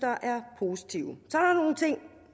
er positive